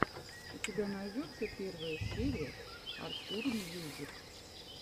у тебя найдется первая серия артур мьюзик